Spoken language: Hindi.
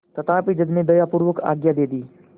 तथापि जज ने दयापूर्वक आज्ञा दे दी